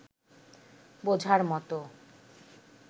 বোঝার মতো